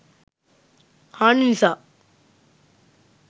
හානි නිසා